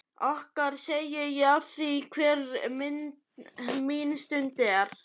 Okkar segi ég afþvíað hver mín stund er þín.